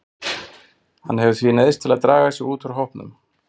Hann hefur því neyðst til að draga sig út úr hópnum.